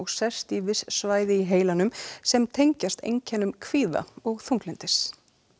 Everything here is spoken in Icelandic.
sest í viss svæði í heilanum sem tengjast einkennum kvíða og þunglyndis